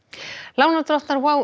lánardrottnar